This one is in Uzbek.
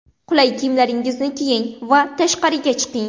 Qulay kiyimlaringizni kiying va tashqariga chiqing.